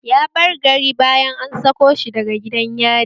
Ya bar gari bayan an sako shi daga gidan yari